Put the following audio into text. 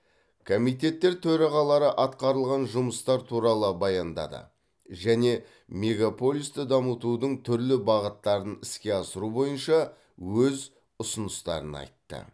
комитеттер төрағалары атқарылған жұмыстар туралы баяндады және мегаполисті дамытудың түрлі бағыттарын іске асыру бойынша өз ұсыныстарын айтты